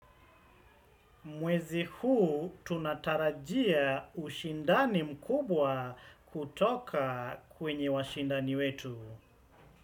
Mwezi huu tunatarajia ushindani mkubwa kutoka kwenye washindani wetu.